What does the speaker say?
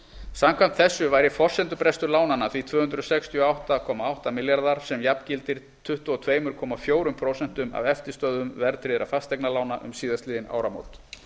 samkvæmt þessu væri forsendubrestur lánanna því tvö hundruð sextíu og átta komma átta baka sem jafngildir tuttugu og tvö komma fjögur prósent af eftirstöðvum verðtryggðra fasteignaveðlána um síðastliðin áramót